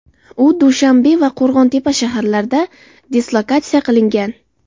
U Dushanbe va Qo‘rg‘ontepa shaharlarida dislokatsiya qilingan.